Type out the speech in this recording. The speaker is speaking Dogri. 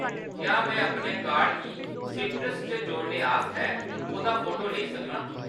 क्या में अपने कार्ड गी सीट्रस च जोड़ने आस्तै ओह्‌‌‌दा फोटो लेई सकनां ?